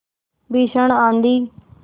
भीषण आँधी